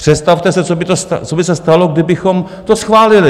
Představte si, co by se stalo, kdybychom to schválili?